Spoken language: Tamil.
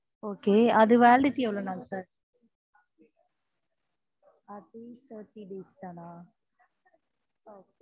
okay அது validity எவ்வளவு நாள் sir அதே thirty days தனா